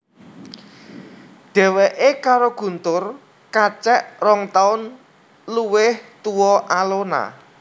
Dheweké karo Guntur kacek rong taun luwih tua Alona